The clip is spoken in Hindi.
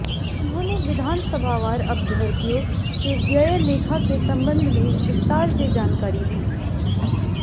उन्होंने विधानसभावार अभ्यर्थियों के व्यय लेखा के संबंध में विस्तार से जानकारी दी